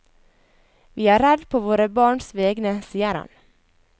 Vi er redd på våre barns vegne, sier han.